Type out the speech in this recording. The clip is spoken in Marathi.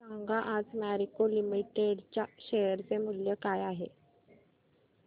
सांगा आज मॅरिको लिमिटेड च्या शेअर चे मूल्य काय आहे